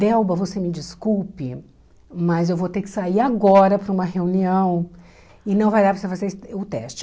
Delba, você me desculpe, mas eu vou ter que sair agora para uma reunião e não vai dar para você fazer o teste.